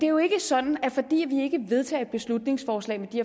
jo ikke sådan at fordi vi ikke vedtager et beslutningsforslag med de